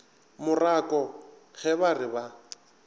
morako ge ba re ba